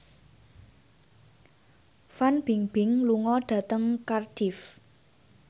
Fan Bingbing lunga dhateng Cardiff